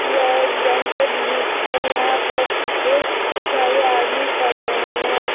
यह एक बैंक का दृश्य है यहां पर बहुत सारे आदमी खड़े हुए हैं।